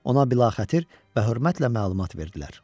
Ona bilaxətir və hörmətlə məlumat verdilər.